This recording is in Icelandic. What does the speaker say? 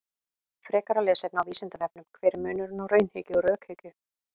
Frekara lesefni á Vísindavefnum: Hver er munurinn á raunhyggju og rökhyggju?